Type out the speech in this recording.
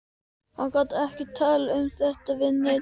Hún gat ekki talað um þetta við neinn.